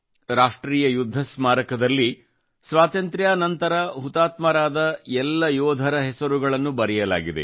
ರಾಷ್ಟ್ರೀಯ ಯುದ್ಧ ಸ್ಮಾರಕದಲ್ಲಿ ಸ್ವಾತಂತ್ರ್ಯಾ ನಂತರ ಹುತಾತ್ಮರಾದ ಎಲ್ಲ ಯೋಧರ ಹೆಸರುಗಳನ್ನು ಬರೆಯಲಾಗಿದೆ